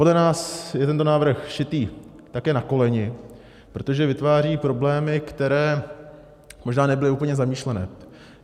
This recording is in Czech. Podle nás je tento návrh šitý také na koleni, protože vytváří problémy, které možná nebyly úplně zamýšlené.